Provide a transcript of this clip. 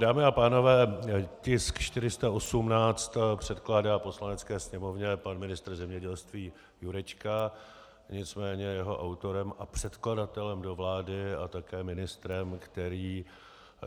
Dámy a pánové, tisk 418 předkládá Poslanecké sněmovně pan ministr zemědělství Jurečka, nicméně jeho autorem a předkladatelem do vlády a také ministrem, který